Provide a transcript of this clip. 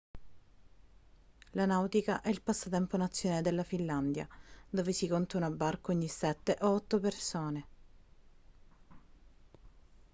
la nautica è il passatempo nazionale della finlandia dove si conta una barca ogni sette o otto persone